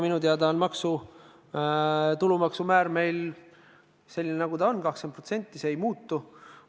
Minu teada on tulumaksumäär meil selline, nagu ta on: 20%, see ei muutu.